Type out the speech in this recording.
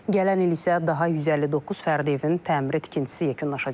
Gələn il isə daha 159 fərdi evin təmiri tikintisi yekunlaşacaq.